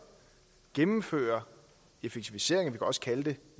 gennemfører effektiviseringer vi kan også kalde det